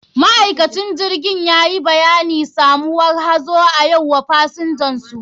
Ma'aikacin jirgin yayi bayanin samuwar hazo a yau wa pasinjinsu.